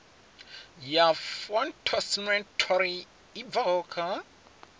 ya phytosanitary i bvaho kha